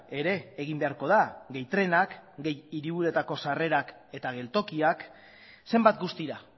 ere egin beharko da gehi trenak gehi hiriburuetako sarrerako eta geltokiak zenbat guztira